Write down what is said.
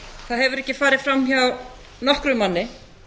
það hefur ekki farið fram hjá nokkrum manni